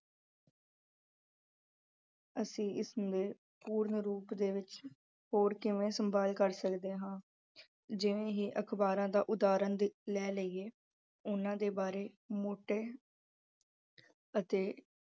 ਅਸੀਂ ਇਸ ਦੇ ਹੋਰ ਕਿਵੇਂ ਪੂਰਨ ਰੂਪ ਦੇ ਵਿੱਚ ਸੰਭਾਲ ਸਕਦੇ ਹਾਂ ਅਹ ਜਿਵੇਂ ਹੀ ਅਖ਼ਬਾਰਾਂ ਦਾ ਉਦਾਹਰਣ ਦੇ ਅਹ ਲੈ ਲਈਏਂ ਉਹਨਾਂ ਦੇ ਬਾਰੇ ਮੋਟੇ ਅਹ ਅਤੇ